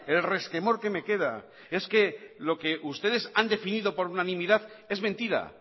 el resquemor que me queda es que lo que ustedes han definido por unanimidad es mentira